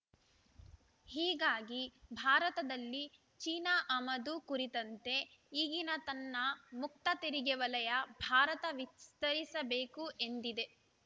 ಹೀಗಾಗಿ ಭಾರತದಲ್ಲಿ ಚೀನಾ ಆಮದು ಕುರಿತಂತೆ ಈಗಿನ ತನ್ನ ಮುಕ್ತ ತೆರಿಗೆ ವಲಯ ಭಾರತ ವಿಸ್ತರಿಸಬೇಕು ಎಂದಿದೆ